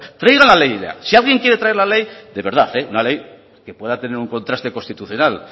traiga la ley ya si alguien quiere traer la ley de verdad una ley que va a tener un contraste constitucional